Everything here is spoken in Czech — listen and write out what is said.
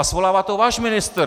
A svolává to váš ministr!